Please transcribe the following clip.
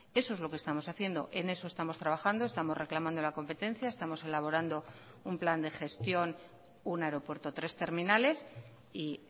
eso es lo que estamos haciendo en eso estamos trabajando estamos reclamando la competencia estamos elaborando un plan de gestión un aeropuerto tres terminales y